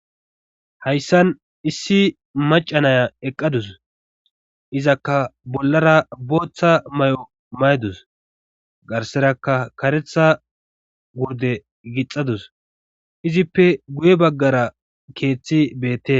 Hayssan issi macanaya eqqadus izakka bollara booththa may7o maydus garseraka karetha gurde gixadus izippe guye baggara keeththi beette.